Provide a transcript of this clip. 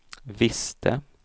visste